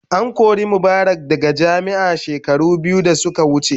An kori Mubarak daga jami'a shekaru biyu da suka wuce.